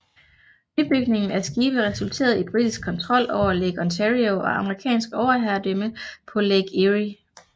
Nybygningen af skibe resulterede i britisk kontrol over Lake Ontario og amerikansk overherredømme på Lake Erie